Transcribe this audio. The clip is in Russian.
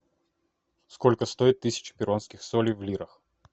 сколько стоит тысяча перуанских солей в лирах